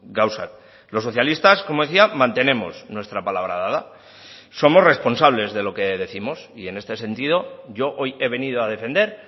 gauzak los socialistas como decía mantenemos nuestra palabra dada somos responsables de lo que décimos y en este sentido yo hoy he venido a defender